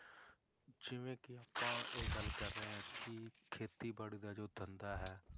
ਜਿਵੇਂ ਕਿ ਆਪਾਂ ਇਹ ਗੱਲ ਕਰ ਰਹੇ ਹਾਂ ਕਿ ਖੇਤੀਬਾੜੀ ਦਾ ਜੋ ਧੰਦਾ ਹੈ,